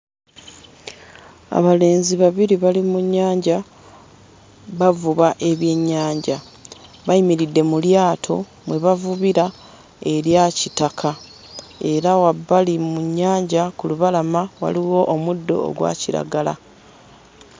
Abalenzi babiri bali mu nnyanja bavuba ebyenyanja. Bayimiridde mu lyato mwe bavubira erya kitaka era wabbali mu nnyanja ku lubalama waliwo omuddo ogwa kiragala.